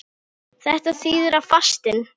Þetta þýðir að fastinn